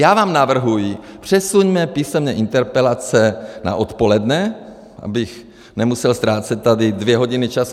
Já vám navrhuji, přesuňme písemné interpelace na odpoledne, abych nemusel ztrácet tady dvě hodiny času.